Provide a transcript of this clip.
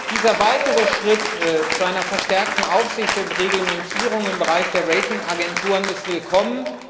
Dieser weitere Schritt zu einer verstärkten Aufsicht und Reglementierung im Bereich der Ratingagenturen ist willkommen.